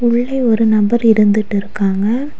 உள்ளே ஒரு நபர் இருந்துட்டு இருக்காங்க.